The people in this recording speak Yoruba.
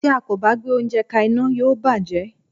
Tí a kò bá gbé oúnjẹ ka iná, yóò bàjé.